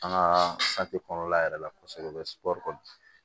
An ka kɔnɔna yɛrɛ la kɔsɛbɛ